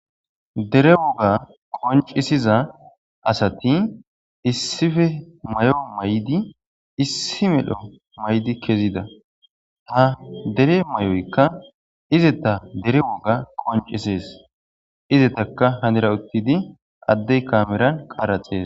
Dere woga qoncisiza asati issife may7o maydi issi medho maydi kezida ha dere may7oykka izeta dere woga qoncisees izetaka hanera uttidi addey kameran qaraxees.